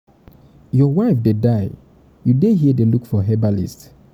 your wife dey die you dey here dey look for herbalist